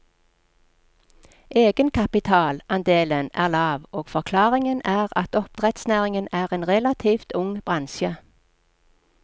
Egenkapitalandelen er lav, og forklaringen er at oppdrettsnæringen er en relativt ung bransje.